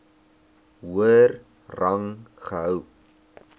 hoër rang gehou